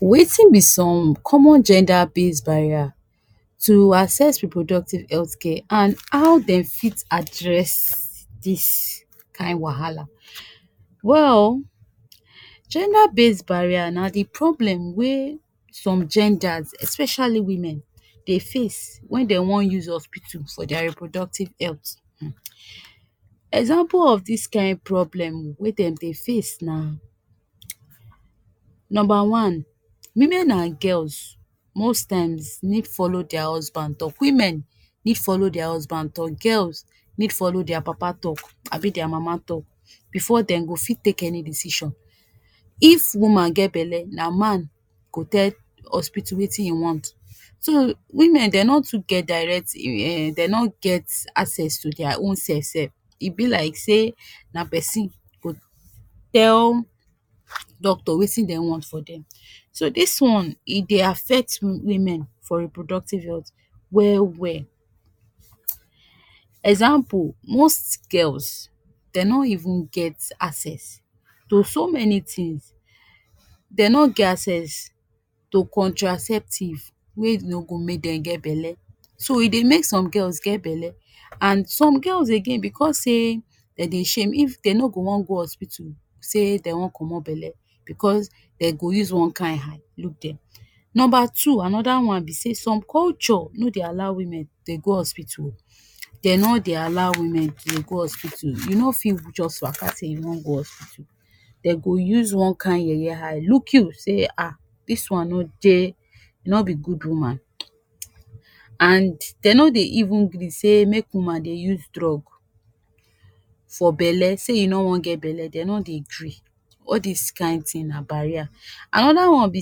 Wetin be some common gender base barrier tu assess reproductive health care and how den fit address dis kain wahala. Well gender based barrier na di problem wey some genders especially women dey face when den wan use hospital for their reproductive health um Example of dis kain problem wey den dey face na, number one, women and girls most times need follow their husband talk, women need follow their husband talk, girls need follow their papa talk abi their mama talk before den go fi take any decision. If woman get belle na man go tell hospital wetin im want, so women dey no too get direct um den no get access to their own self sef, e be like say na pesin go tell doctor wetin den want for dem. So, dis one e dey affect wu women for reproductive health well-well, example, most girls den no even get access to so many tins, they no get access to contraceptive wey no go make dem get belle, so e dey make some girls get belle and some girls again because sey den dey shame if den no go wan go hospital say dey wan comot belle bcos den go use wan kain eye look them. Number two, anoda one be say som culture no dey allow women dey go hospital, den no dey allow women tu go hospital, you no fi just waka say you wan go hospital, den go use one Kain yeye eye look you say um dis one no dey, nor be good woman, and den no dey even gree sey make woman dey use drug for belle say you no wan get belle, den no dey gree, all dis kain tin na barrier. Anoda one be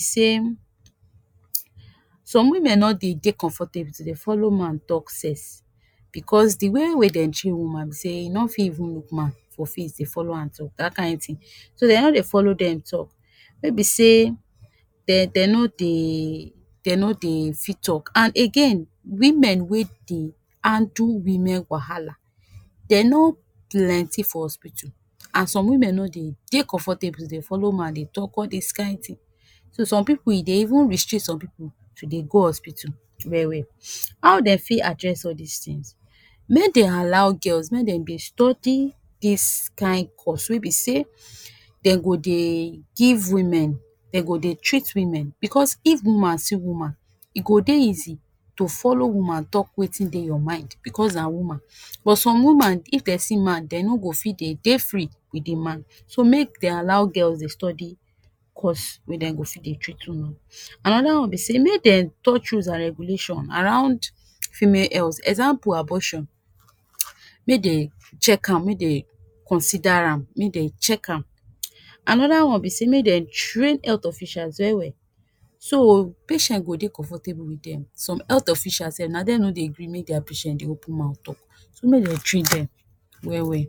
say, some women no dey de comfortable tu dey follow man talk sex because di way wey den train woman sey e no fi even look man for face dey follow am talk da kain tin, so den no dey follow them talk ne be sey den den no dey, den no dey fi talk. And again women wey dey handle women wahala, dem no plenty for hospital and some women no dey dey comfortable to dey follow man dey talk all dis kain tin, so some pipu e dey even restrict some pipu to dey go hospital well-well. How den fi address all these tins? Make den allow girls make dem dey study dis kain course wey be sey den go dey give women, den go dey treat women because if woman see woman e go dey easy to follow woman talk wetin dey your mind because na woman. But some woman if dem see man, dem no go fi dey de free with di man, so make den allow girls dey study course wey den go fi dey treat wu no. Anoda one be say make den touch rules and regulations around female health, example abortion, make den check am, make dey consider am, make den check am. Anoda one be say make den train health officials well-well so patient go dey comfortable wit them, some health officials sef na them no dey gree make their patient dey open mouth talk, so make dem train them well-well.